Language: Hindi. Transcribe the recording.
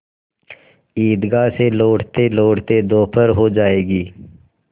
ईदगाह से लौटतेलौटते दोपहर हो जाएगी